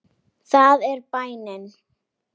Það er bænin.